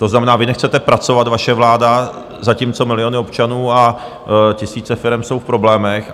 To znamená, vy nechcete pracovat, vaše vláda, zatímco miliony občanů a tisíce firem jsou v problémech.